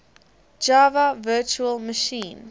java virtual machine